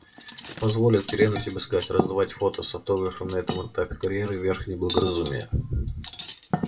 позволь откровенно тебе сказать раздавать фото с автографом на этом этапе карьеры верх неблагоразумия